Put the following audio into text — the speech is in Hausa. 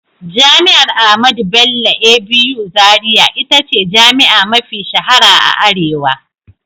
Jami'ar Ahmadu Bello (ABU) Zaria ita ce jami'a mafi shahara a arewa.